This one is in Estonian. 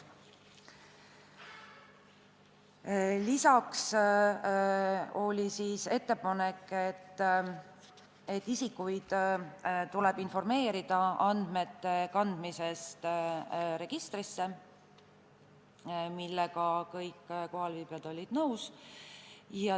Lisaks oli ettepanek, et isikuid tuleb informeerida andmete kandmisest registrisse, millega kõik kohalviibijad olid nõus.